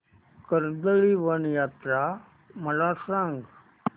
कर्दळीवन यात्रा मला सांग